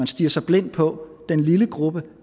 stirrer sig blind på den lille gruppe